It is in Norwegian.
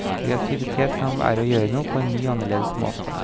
Kreativitet kan være å gjøre noe på en ny og annerledes måte.